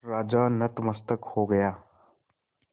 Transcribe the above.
राजा नतमस्तक हो गया